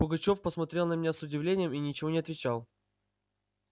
пугачёв посмотрел на меня с удивлением и ничего не отвечал